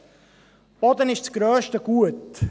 Der Boden ist das grösste Gut.